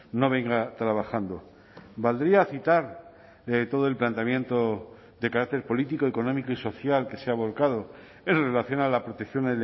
no venga trabajando valdría citar todo el planteamiento de carácter político económico y social que se ha volcado en relación a la protección